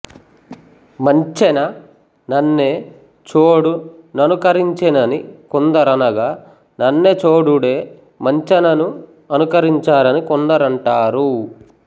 మంచెన నన్నె చోడు ననుకరించెనని కొందరనగా నన్నెచోడుడే మంచనను అనుకరించారని కొండరంటారు